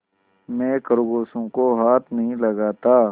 मैं खरगोशों को हाथ नहीं लगाता